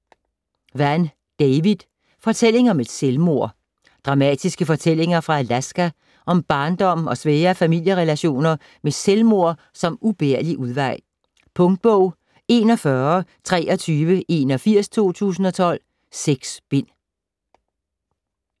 Vann, David: Fortælling om et selvmord Dramatiske fortællinger fra Alaska om barndom og svære familierelationer med selvmord som ubærlig udvej. Punktbog 412381 2012. 6 bind.